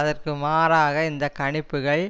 அதற்கு மாறாக இந்த கணிப்புகள்